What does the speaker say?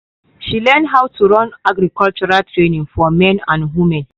she learn how to run agriculture training for man and woman.